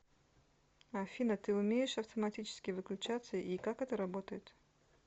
афина ты умеешь автоматически выключаться и как это работает